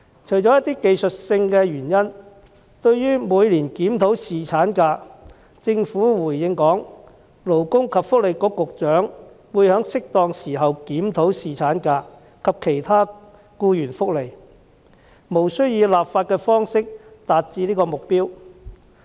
除一些技術性的原因外，對於每年檢討侍產假，政府回應指勞工及福利局局長會在適當時候檢討侍產假及其他僱員福利，無須以立法的方式達致此目標。